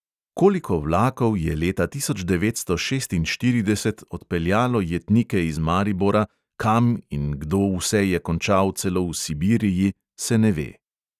Koliko vlakov je leta tisoč devetsto šestinštirideset odpeljalo jetnike iz maribora, kam in kdo vse je končal celo v sibiriji, se ne ve.